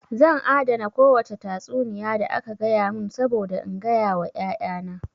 Zan adana kowace tatsuniya da aka gaya mun saboda in gaya wa ƴaƴa na